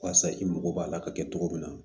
Walasa i mago b'a la ka kɛ cogo min na